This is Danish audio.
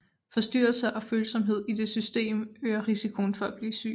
Forstyrrelser og følsomhed i det system øger risikoen for at blive syg